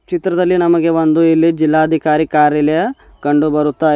ಚಿತ್ರದಲ್ಲಿ ನಮಗೆ ಒಂದು ಇಲ್ಲಿ ಜಿಲ್ಲಾಧಿಕಾರಿ ಕಾರ್ಯಾಲಯ ಕಂಡು ಬರುತ್ತಾ--